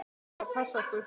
Hver á að passa okkur?